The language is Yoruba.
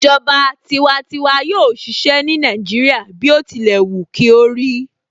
Ìjọba tiwantiwa yóò ṣiṣẹ́ ní Nàìjíríà bí ó tilẹ̀ wù kí ó rí